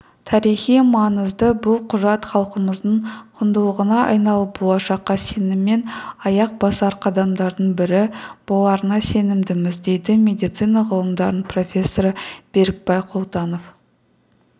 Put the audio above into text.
тарихи маңызды бұл құжат халқымыздың құндылығына айналып болашаққа сеніммен аяқ басар қадамдардың бірі боларына сенімдіміз дейді медицина ғылымдарының профессоры берікбай құлтанов